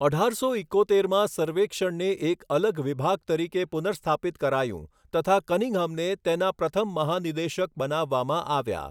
અઢારસો ઇકોતેરમાં સર્વેક્ષણને એક અલગ વિભાગ તરીકે પુનર્સ્થાપિત કરાયું તથા કનિંઘહામને તેના પ્રથમ મહાનિદેશક બનાવવામાં આવ્યા.